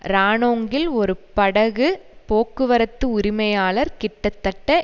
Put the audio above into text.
ரானோங்கில் ஒரு படகு போக்குவரத்து உரிமையாளர் கிட்டத்தட்ட